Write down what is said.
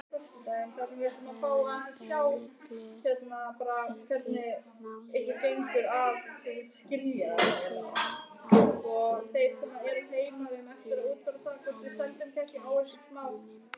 Öllu heldur má segja að aðstoð sé henni kærkomin.